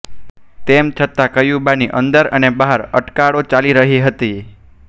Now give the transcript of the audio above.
તેમ છતાં ક્યુબાની અંદર અને બહાર અટકળો ચાલી રહી હતી